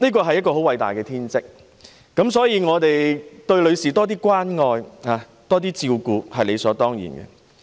生育是偉大的天職，因此多關愛和照顧女士是理所當然的。